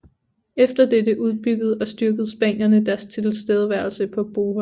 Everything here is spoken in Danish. Efter dette udbyggede og styrkede spanierne deres tilstedeværelse på Bohol